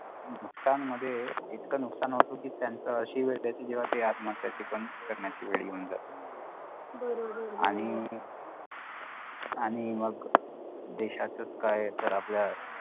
नुकसान मध्ये इतकं नुकसान होतो की त्यांच अशी वेळ येते की जेव्हा ते आत्महत्याची पण करण्याची पण वेळ येऊन जाते आणि आणि मग देशात क्या तर आपल्या